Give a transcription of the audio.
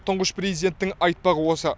тұңғыш президенттің айтпағы осы